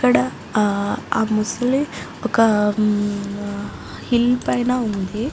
ఇక్కడ ఆహ్ ఆ ముసలి ఒక ఉమ్ హిల్ పైన ఉంది.